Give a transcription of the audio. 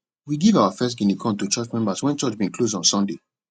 we give our first guinea corn to church members when church bin close on sunday